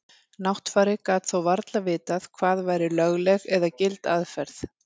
Náttfari gat þó varla vitað hvað væri lögleg eða gild aðferð.